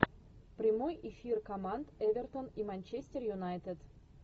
прямой эфир команд эвертон и манчестер юнайтед